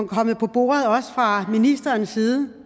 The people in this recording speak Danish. kommet på bordet også fra ministerens side